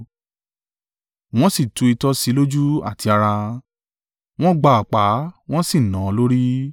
Wọ́n sì tu itọ́ sí i lójú àti ara, wọ́n gba ọ̀pá wọ́n sì nà án lórí.